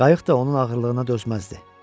Qayıq da onun ağırlığına dözməzdi.